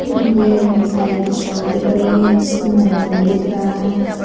यह एक मिठाई की शॉप दिख रही है इसमें नमकीन दिख रहा है।